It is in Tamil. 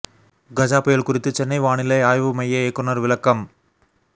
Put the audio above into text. கஜா புயல் குறித்து சென்னை வானிலை ஆய்வு மைய இயக்குநர் விளக்கம்